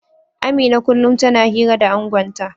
Amina kullum tana hira da angonta